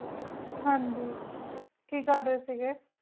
ਹਨ ਜੀ ਕੀ ਕਰ ਰਹੀ ਸੀਗੀ